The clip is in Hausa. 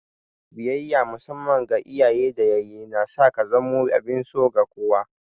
Biyayya musamman ga iyaye da yayyi na sa ka zamo abin so ga kowa.